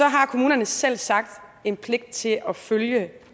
har kommunerne selvsagt en pligt til at følge